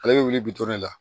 Ale bɛ wuli bi duuru la